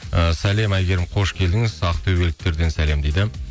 і сәлем әйгерім қош келдіңіз ақтөбеліктерден сәлем дейді